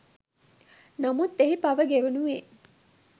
නමුත් එහි පව ගෙවනුයේ